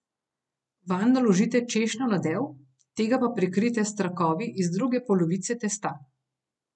Vanj naložite češnjev nadev, tega pa prekritje s trakovi iz druge polovice testa.